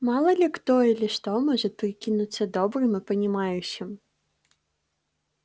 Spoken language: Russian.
мало ли кто или что может прикинуться добрым и понимающим